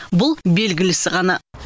бұл белгілісі ғана